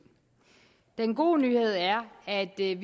den gode nyhed er at vi er